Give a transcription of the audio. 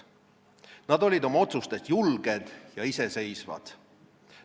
Nad olid oma otsustes julged ja iseseisvad.